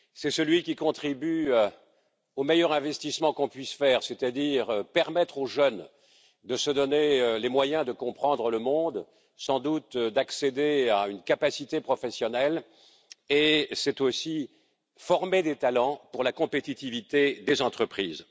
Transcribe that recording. C'est celui qui contribue au meilleur investissement que nous puissions faire, c'est à dire permettre aux jeunes de se donner les moyens de comprendre le monde, sans doute d'accéder à une capacité professionnelle, et c'est aussi former des talents pour la compétitivité des entreprises.